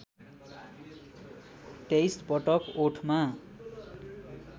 २३ पटक ओठमा